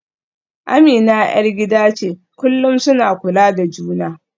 Amina ‘yar gida ce, kullum suna kula da juna.